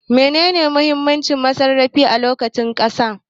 Menene muhimmin masarrafi a lokacin saƙa